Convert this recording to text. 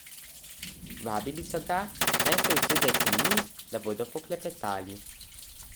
Vabili so ga, naj se usede k njim, da bodo poklepetali.